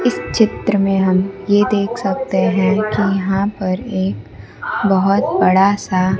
इस चित्र में हम ये देख सकते हैं कि यहां पर एक बहुत बड़ा सा--